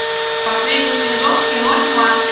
последний сезон кино тьма